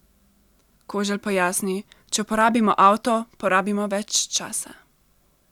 Koželj pojasni: "Če uporabimo avto, porabimo več časa.